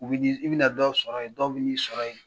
U bɛ bɛ na dɔw sɔrɔ yen dɔw bɛ n'i sɔrɔ yen